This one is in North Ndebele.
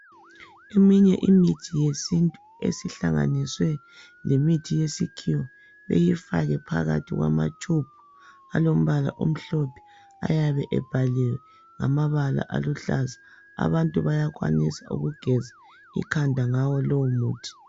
Eminye imithi yesintu esihlanganiswe lemithi yesikhiwa beyifake phakathi kwamatshubhu alombala omhlophe ayabe ebhaliwe ngamabala aluhlaza. Abantu bayakwanisa ukugeza ikhanda ngawo lowo muthi.